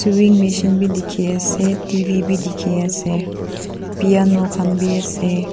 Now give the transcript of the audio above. twing machine bi dekhi ase tv bi dekhi ase piano khan bi ase.